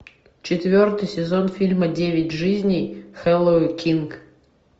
четвертый сезон фильма девять жизней хлои кинг